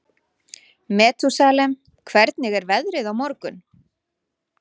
Metúsalem, hvernig er veðrið á morgun?